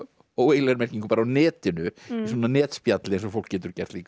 óeiginlegri merkingu á netinu í svona netspjalli eins og fólk getur gert líka